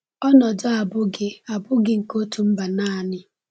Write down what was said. Ọnọdụ a abụghị a abụghị nke otu mba naanị.